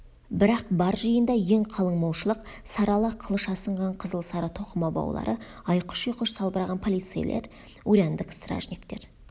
бірақ бар жиында ең қалың молшылық сары ала қылыш асынған қызыл-сары тоқыма баулары айқыш-ұйқыш салбыраған полицейлер урядник стражниктер